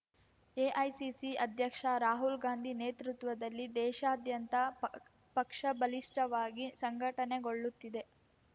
AICC ಅಧ್ಯಕ್ಷ ರಾಹುಲ್‌ ಗಾಂಧಿ ನೇತೃತ್ವದಲ್ಲಿ ದೇಶಾದ್ಯಂತ ಪಕ್ ಪಕ್ಷ ಬಲಿಷ್ಟವಾಗಿ ಸಂಘಟನೆಗೊಳ್ಳುತ್ತಿದೆ